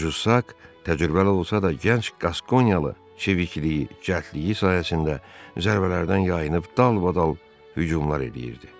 Juşak təcrübəli olsa da, gənc qaskoniyalı çevikliyi, cəldliyi sahəsində zərbələrdən yayınıb dalbadal hücumlar eləyirdi.